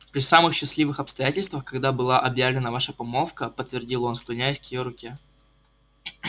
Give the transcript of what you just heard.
при самых счастливых обстоятельствах когда была объявлена ваша помолвка подтвердил он склоняясь к её руке